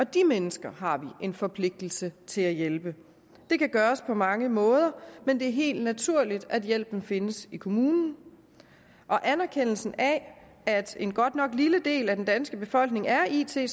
de mennesker har vi en forpligtelse til at hjælpe det kan gøres på mange måder men det er helt naturligt at hjælpen findes i kommunen og anerkendelsen af at en godt nok lille del af den danske befolkning er it